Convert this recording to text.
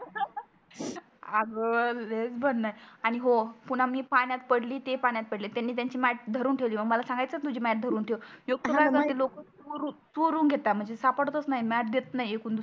अग लयच भन्नाट आणि हो पुन्हा मी पाण्यात पडली ते पाण्यात पडले त्यांनी त्यांची मॅट धरून ठेवली मग मला सांगायचणा तुझी मॅट धरून ठेव इतके सारे लोक खरब आहे लोक चोरून घेतात म्हणजे सापडतच मॅट देत नाही